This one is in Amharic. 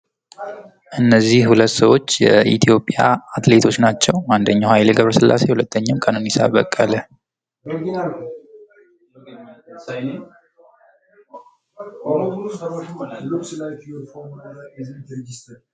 እነዚህ ሁለት ሰዎች የኢትዮጵያ አትሌቶች ናቸው ፤ አንደኛው ሃይሌገብረስላሴ በሁለተኛው ቀነኒሳ በቀለ።